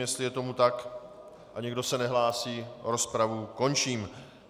Jestli je tomu tak a nikdo se nehlásí, rozpravu končím.